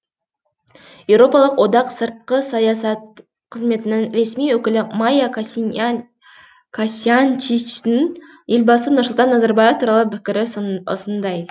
еуропалық одақ сыртқы саясат қызметінің ресми өкілі майя косьянчичтің елбасы нұрсұлтан назарбаев туралы пікірі осындай